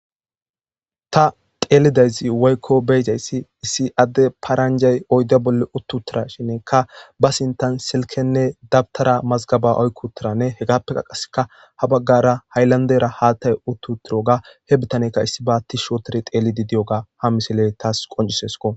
ta xeelidayzi woykko bee7izayssi issi adde paranjay oydda bolle uttutirashinekka ba sintan silkenne dabtara mazgaba oykkutiranne hegappe qaaseka ha baggara hayllandera haattay uttutiroga he bitanekka issiba tiishi ootori teelidi diyoga ha misiley taas qoncisesko